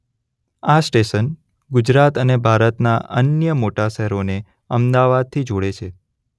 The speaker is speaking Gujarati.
આ સ્ટેશન ગુજરાત અને ભારતનાં અન્ય મોટા શહેરોને અમદાવાદથી જોડે છે.